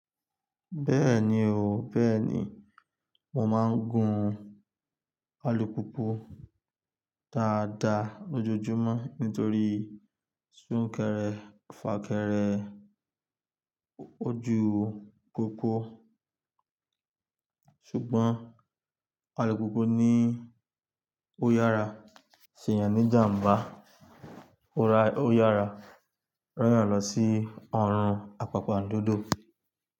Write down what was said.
Bẹ́ẹ̀ni o, bẹ́ẹ̀ni, mo máa ń gun alùpùpù dáadáa lójoojúmọ́ nítorí súnkẹrẹ-fàkẹrẹ ojú popo ṣùgbọ́n alùpùpù ni ó yára se yán ní jàmbá, ó yára rọ́yàn lọ sí ọrùn àpàpà ndodo.